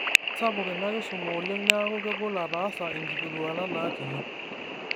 Kesapuk ina kisuma oleng' neaku kegol ataasa inkilikuanat naati